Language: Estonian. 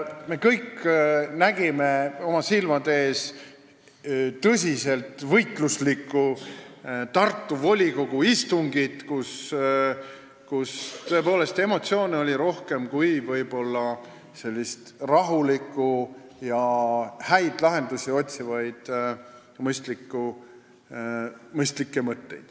Me kõik nägime oma silmaga tõsiselt võitluslikku Tartu volikogu istungit, kus emotsioone oli rohkem kui rahulikult häid lahendusi otsivat mõistlikku juttu.